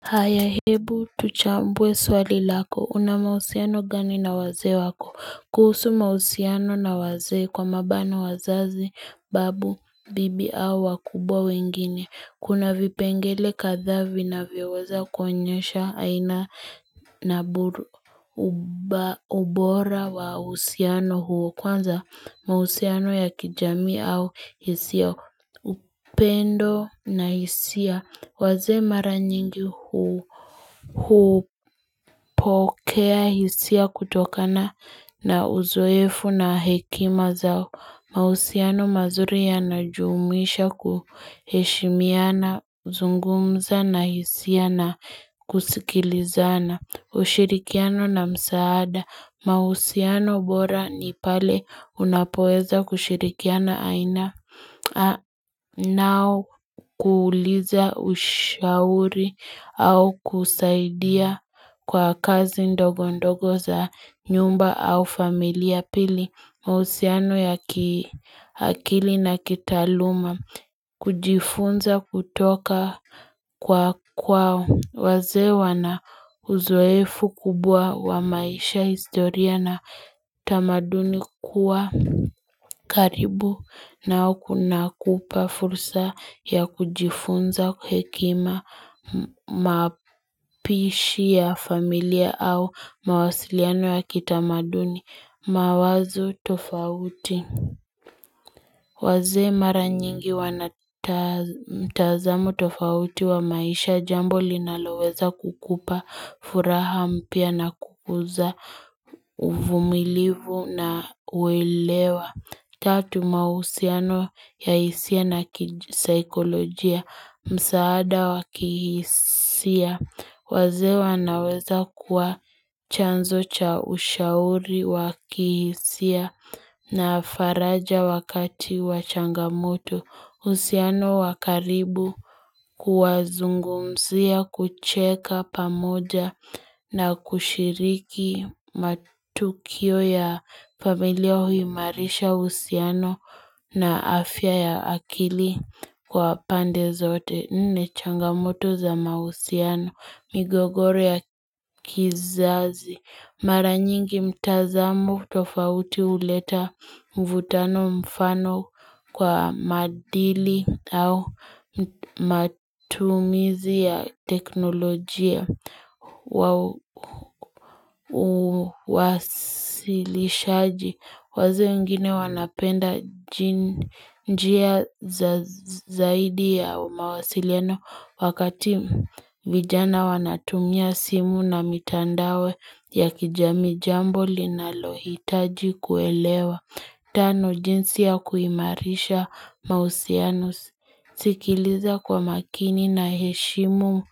Haya hebu tuchambwe swali lako una mausiano gani na waze wako kuhusu mausiano na waze kwa mabana wazazi babu bibi au wakubwa wengine kuna vipengele kathavi na vioweza kwenyesha aina na ubora wa usiano huo kwanza mausiano ya kijami au hisia upendo na hisia Waze mara nyingi hupokea hisia kutokana na uzoefu na hekima zao. Mausiano mazuri ya najumisha kuheshimiana, zungumza na hisia na kusikilizana. Ushirikiano na msaada. Mausiano bora ni pale unapoeza kushirikiana aina. Nao kuuliza ushauri au kusaidia kwa kazi ndogo ndogo za nyumba au familia pili mausiano ya kiakili na kitaluma. Kujifunza kutoka kwa kwa waze wana uzoefu kubwa wa maisha, historia na tamaduni kuwa karibu na ukuna kupa fursa ya kujifunza kwa hekima mapishi ya familia au mawasiliano ya kitamaduni mawazo tofauti. Waze mara nyingi wanatazamu tofauti wa maisha jambo linaloweza kukupa furaha mpia na kukuza uvumilivu na uelewa. Tatu mausiano ya hisia na kisikolojia, msaada wakihisia, wazewa naweza kuwa chanzo cha ushauri wakihisia na faraja wakati wachangamuto. Usiano wakaribu kuwazungumzia kucheka pamoja na kushiriki matukio ya familia hui marisha usiano na afya ya akili kwa pande zote. Nde ne changamoto za mausiano, migogoro ya kizazi Maranyingi mtazamu tofauti uleta mvutano mfano kwa madili au matumizi ya teknolojia Uwasilishaji Waze mgini wanapenda njia zaidi ya mawasileno Wakati vijana wanatumia simu na mitandawe ya kijami jambo linalohitaji kuelewa Tano jinsi ya kuimarisha mausianus Sikiliza kwa makini na heshimu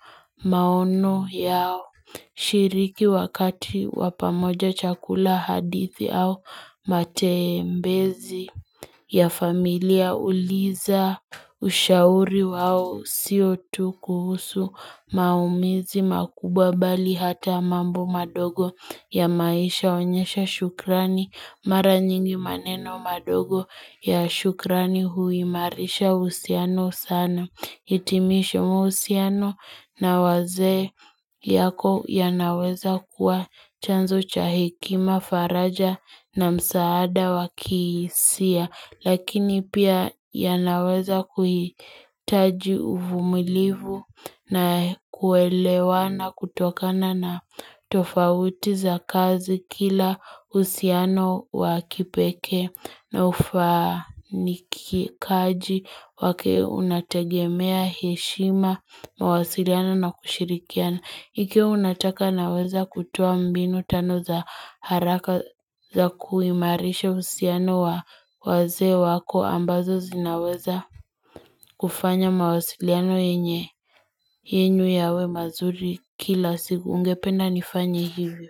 maono yao shiriki wakati wapamoja chakula hadithi au matembezi ya familia uliza ushauri wao siotu kuhusu maumizi makubwa bali hata mambo madogo ya maisha onyesha shukrani Mara nyingi maneno madogo ya shukrani huimarisha usiano sana. Hitimisho muusiano na waze yako ya naweza kuwa chanzo cha hikima faraja na msaada wakisia. Lakini pia ya naweza kuhitaji uvumilivu na kuelewa na kutokana na tofauti za kazi kila usiano wa kipeke na ufaniki kaji wake unatagemea heshima mawasiriana na kushirikiana. Ikiyo unataka naweza kutuwa mbinu tano za haraka za kuimarisha usiano wa waze wako ambazo zinaweza kufanya mawasiliano yenye. Yenyu yawe mazuri kila siku ungependa nifanya hivyo.